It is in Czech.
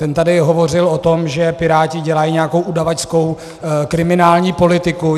Ten tady hovořil o tom, že Piráti dělají nějakou udavačskou kriminální politiku.